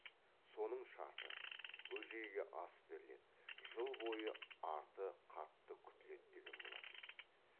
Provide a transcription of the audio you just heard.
соның шарты бөжейге ас беріледі жыл бойы арты қатты күтіледі деген болатын